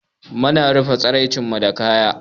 Mu na rufa tsaraicen mu da kaya.